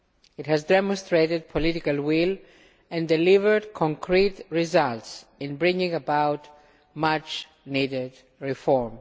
It has demonstrated political will and delivered concrete results in bringing about much needed reform.